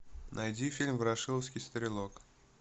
найди фильм ворошиловский стрелок